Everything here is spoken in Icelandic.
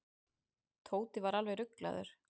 Tóti var alveg ruglaður.